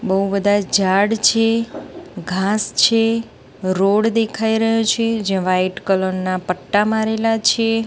બો બધા ઝાડ છે ઘાંસ છે રોડ દેખાય રહ્યો છે જે વ્હાઇટ કલર ના પટ્ટા મારેલા છે.